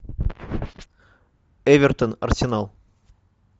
эвертон арсенал